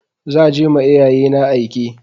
Za je ma iyayena aike.